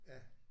Ja